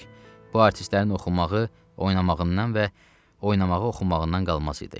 Bu artistlərin oxumağı, oynamağından və oynamağı oxumağından qalmas idi.